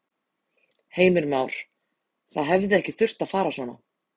Heimir Már: Það hefði ekki þurft að fara svona?